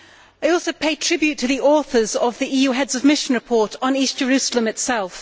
I also pay tribute to the authors of the EU Heads of Mission report on East Jerusalem itself.